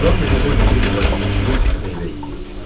Ram meşədə hündür bir ağaca çıxıb meyvə yeyirdi.